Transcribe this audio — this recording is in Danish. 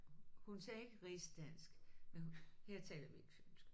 Hun sagde ikke rigsdansk men hun her taler vi ikke fynsk